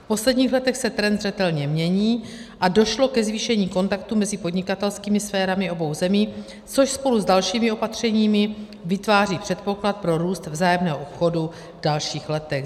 V posledních letech se trend zřetelně mění a došlo ke zvýšení kontaktů mezi podnikatelskými sférami obou zemí, což spolu s dalšími opatřeními vytváří předpoklad pro růst vzájemného obchodu v dalších letech.